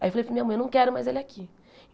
Aí eu falei, para a minha mãe, não quero mais ele aqui.